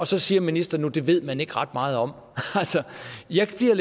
så siger ministeren nu at det ved man ikke ret meget om jeg bliver i